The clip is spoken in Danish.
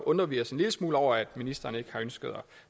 undrer vi os en lille smule over at ministeren ikke har ønsket at